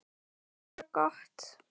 Bara gott.